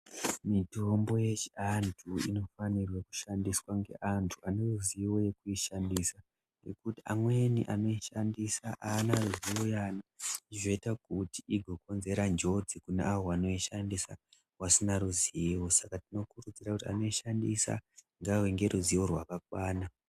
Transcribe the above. Mitombo yechiantu inofanirwe kushandiswa ngeantu aneruzivo rekuishandisa. Nekuti amweni anoishandisa aana ruzivo yayo zvoita kuti igokonzera njodzi kune avo vanoishandisa vasina ruzivo. Saka tinokurudzira kuti anoishandisa ngaave neruzivo rwakakwana.